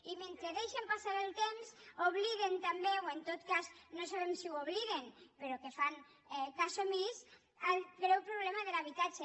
i mentre deixen passar el temps obliguen també o en tot cas no sabem si ho obliden però fan cas omís al greu problema de l’habitatge